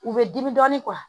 U bɛ dimi dɔɔnin